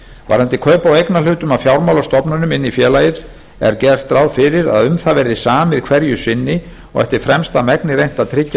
varðandi kaup á eignarhlutum af fjármálastofnunum inn í félagið er gert ráð fyrir að um það verði samið hverju sinni og eftir fremsta megni reynt að tryggja